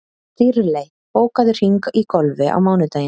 Dýrley, bókaðu hring í golf á mánudaginn.